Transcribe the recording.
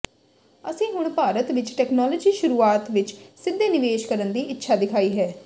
ਅਸੀਂ ਹੁਣ ਭਾਰਤ ਵਿਚ ਟੈਕਨਾਲੌਜੀ ਸ਼ੁਰੂਆਤ ਵਿਚ ਸਿੱਧੇ ਨਿਵੇਸ਼ ਕਰਨ ਦੀ ਇੱਛਾ ਦਿਖਾਈ ਹੈ